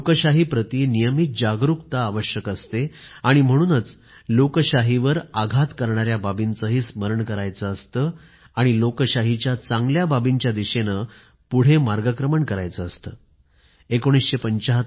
लोकशाहीप्रती नियमित जागरूकता आवश्यक असते आणि म्हणूनच लोकशाहीवर आघात करणाऱ्या बाबींचेही स्मरण करायचं असतं आणि लोकशाहीच्या चांगल्या बाबींच्या दिशेनं पुढे मार्गक्रमण करायचं असतं